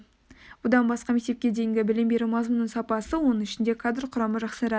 бұдан басқа мектепке дейінгі білім беру мазмұнының сапасы оның ішінде кадр құрамы жақсарады